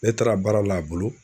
Ne taara baara l'a bolo